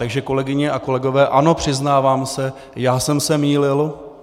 Takže kolegyně a kolegové, ano, přiznávám se, já jsem se mýlil.